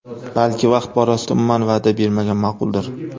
Balki vaqt borasida umuman va’da bermagan ma’quldir?